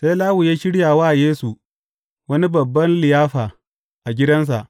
Sai Lawi ya shirya wa Yesu wani babban liyafa a gidansa.